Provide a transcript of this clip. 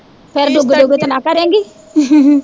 ਫੇਰ ਦੁਗ ਦੁਗ ਤਾਂ ਨਾ ਕਰੇਗੀ